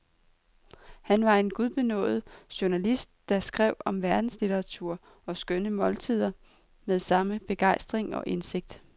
Han var en gudbenådet journalist, der skrev om verdenslitteratur og skønne måltider med samme begejstring og indsigt.